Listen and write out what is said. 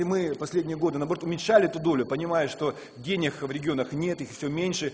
и мы последние годы наоборот уменьшали эту долю понимая что денег в регионах нет их всё меньше